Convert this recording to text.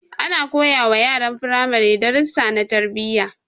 Ana koyawa yaran firamare darussa na tarbiyya